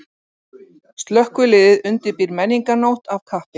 Slökkviliðið undirbýr menningarnótt af kappi